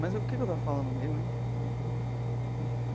Mas o que que eu estava falando mesmo, hein?